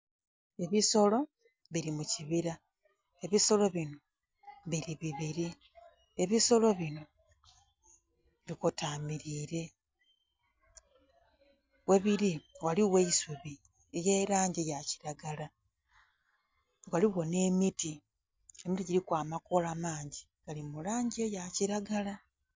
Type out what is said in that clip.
Ebisolo bili mu kibira. Ebisolo bino bili bibiri. Ebisolo bino bikotamilire. Ghebiri ghaligho eisubi ely'elangi ya kiragala. Ghaligho nh'emiti, emiti giliku amakoola mangi, gali mu langi eya kiragala.